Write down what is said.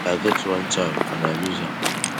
i get one child and i lose am